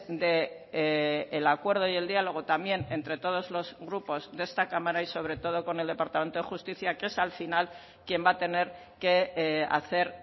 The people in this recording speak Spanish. del acuerdo y el diálogo también entre todos los grupos de esta cámara y sobre todo con el departamento de justicia que es al final quien va a tener que hacer